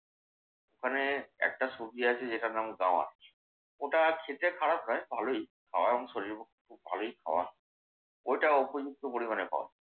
ওখানে একটা সবজি আছে যেটার নাম গাওয়াচ। ওটা খেতে খারাপ নয় ভালোই গাওয়াচ। শরীরের পক্ষে খুব ভালোই গাওয়াচ। ওটা উপযুক্ত পরিমাণে পাওয়া যায়।